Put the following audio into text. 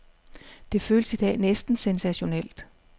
Det føles i dag næsten sensationelt.